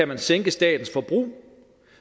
man sænke statens forbrug